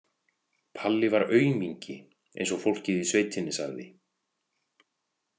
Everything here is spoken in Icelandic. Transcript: Palli var aumingi, eins og fólkið í sveitinni sagði.